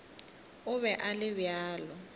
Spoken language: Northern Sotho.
o be a le bjalo